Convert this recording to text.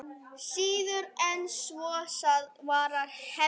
Síður en svo, svarar Hemmi.